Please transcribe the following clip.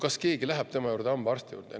Kas keegi läheb siis tema juurde hambaarstile?